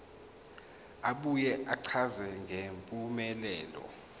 abuye achaze ngempumelelo